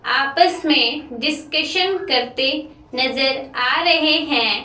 आपस में डिस्कशन करते नजर आ रहे हैं।